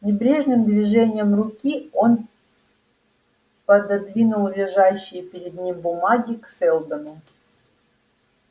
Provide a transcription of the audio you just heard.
небрежным движением руки он пододвинул лежащие перед ним бумаги к сэлдону